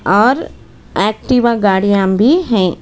और एक्टिवा गाड़ियाँ भी हैं।